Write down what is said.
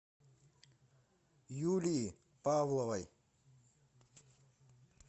юлии павловой